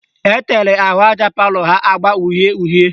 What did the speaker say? Ọ tere ahụaja palọ ha agba uhie uhie